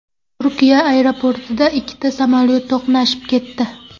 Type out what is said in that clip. Turkiya aeroportida ikkita samolyot to‘qnashib ketdi.